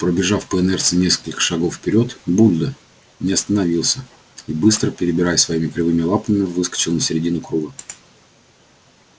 пробежав по инерции несколько шагов вперёд будьдо не остановился и быстро перебирая своими кривыми лапами выскочил на середину круга